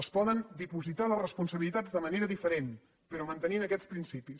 es poden dipositar les responsabilitats de manera diferent però mantenint aquests principis